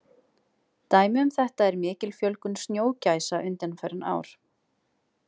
Dæmi um þetta er mikil fjölgun snjógæsa undanfarin ár.